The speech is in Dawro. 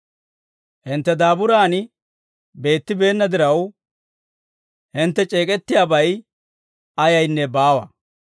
Hintte daaburan beettibeenna diraw, hintte c'eek'ettiyaabay ayaynne baawa.